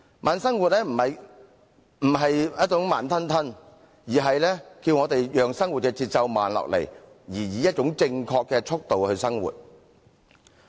慢生活並非慢吞吞地生活，而是教我們讓生活的節奏慢下來，並以一種正確的速度來生活。